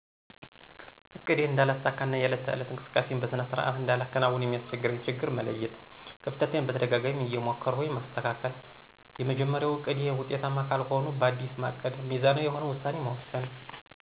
እቅዴን እነዳለሳካ እና የዕለት ተዕለት እንቅስቃሴየን በሰነ ስርዓት እንዳላከናውን የሚያሰቸግረኝን ችግር መለየት። ከፍተቴን በተደጋጋማ እየሞከርሁ ማሰተካከል። የመጀመርያው እቅዴ ውጤታማ ካልሆንሁ ባዲስ ማቀድ ሚዛናዊ የሆነ ውሳኔ መወሰን።